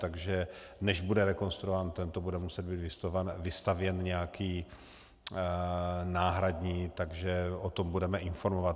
Takže než bude rekonstruován tento, bude muset být vystavěn nějaký náhradní, takže o tom budeme informovat.